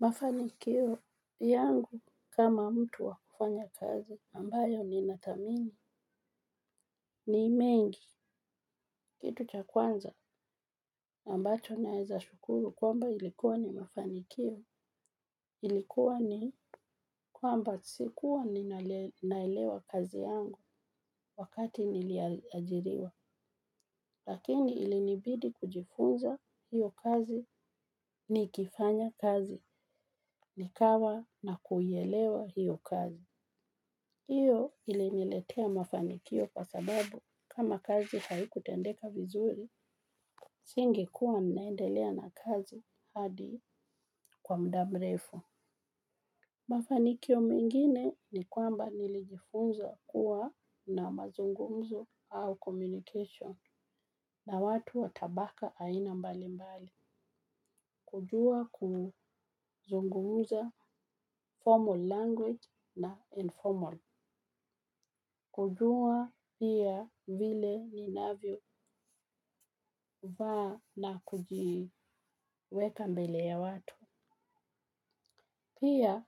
Mafanikio yangu kama mtu wa kufanya kazi ambayo ninathamini ni mengi kitu cha kwanza ambacho naweza shukuru kwamba ilikuwa ni mafanikio ilikuwa ni kwamba sikuwa ninaelewa kazi yangu wakati niliajiriwa lakini ilinibidi kujifunza hiyo kazi nikifanya kazi nikawa na kuelewa hiyo kazi hiyo ili niletea mafanikio kwa sababu kama kazi haikutendeka vizuri, nisingekuwa ninaendelea na kazi hadi kwa muda mrefu. Mafanikio mengine ni kwamba nilijifunza kuwa na mazungumzo au communication na watu wa tabaka aina mbali mbali. Kujua kuzungumza formal language na informal. Kujua pia vile ninavyo vaa na kujiweka mbele ya watu. Pia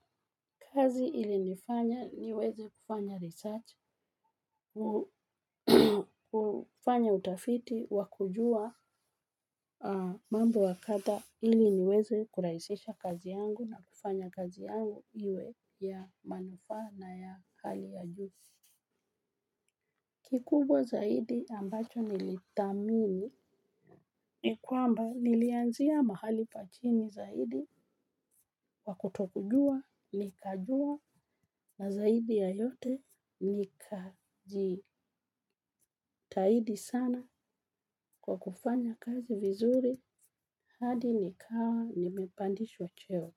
kazi ili nifanya niweze kufanya research, kufanya utafiti, wa kujua mambo wakadhaa ili niweze kurahisisha kazi yangu na kufanya kazi yangu iwe ya manufaa na ya hali ya juu. Kikubwa zaidi ambacho nilithamini ni kwamba nilianzia mahali pa chini zaidi kwakutokujua nikajua na zaidi ya yote nikajitahidi sana kwa kufanya kazi vizuri hadi nikawa nimepandishwa cheo.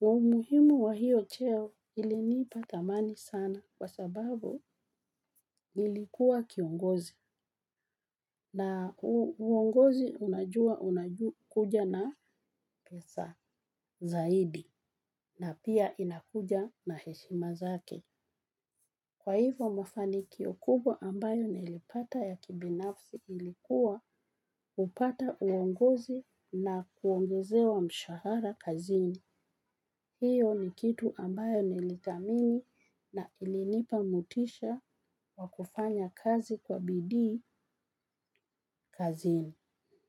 Umuhimu wa hiyo cheo ilinipa thamani sana kwa sababu nilikuwa kiongozi na uongozi unajua unajua kuja na pesa zaidi na pia inakuja na heshima zake. Kwahivo mafanikio kubwa ambayo nilipata kibinafsi kuwa kupata uongozi na kuongezewa mshahara kazini. Hiyo ni kitu ambayo nili thamini na ilinipa motisha wa kufanya kazi kwa bidii kazini.